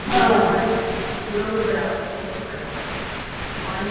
ਉਦੋਂ ਵੀ ਬੜਾ ਉਹਨੂੰ ਵੀ ਬੜਾ ਉਹ ਆਂਦੀ